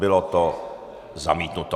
Bylo to zamítnuto.